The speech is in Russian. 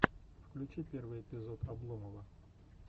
включи первый эпизод обломова